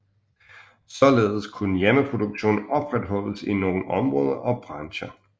Således kunne hjemmeproduktionen opretholdes i nogle områder og brancher